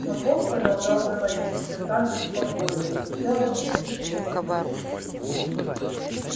но бог продолжал говорить все так же спокойно не делая никаких резких движе-ний